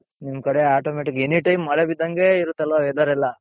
ನಿಮ್ ಕಡೆ automatic any time ಮಳೆ ಬಿದ್ದಂಗೆ ಇರುತ್ತಲ್ವ weather ಎಲ್ಲಾ.